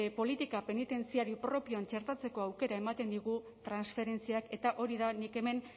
politika penitentziario propioan txertatzeko aukera ematen digu transferentziak eta hori da nik hemen